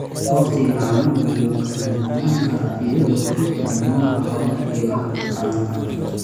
Wakhtiga caanuhu wuu kala duwanaan karaa iyadoo ku xidhan nooca xoolaha iyo habka taranta.